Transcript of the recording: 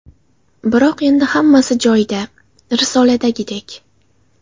Biroq endi hammasi joyida, risoladagidek.